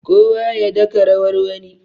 kowa ya daka rawar wani